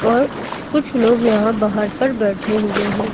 और कुछ लोग यहां बाहर पर बैठे हुए हैं।